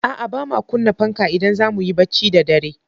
A'a, ba ma kunna fanka idan za mu yi barci da dare.